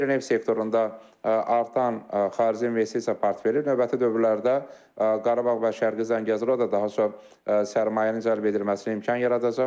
Qeyri-neft sektorunda artan xarici investisiya portfeli növbəti dövrlərdə Qarabağ və Şərqi Zəngəzurda daha çox sərmayənin cəlb edilməsinə imkan yaradacaq.